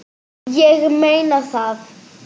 Ég meina það.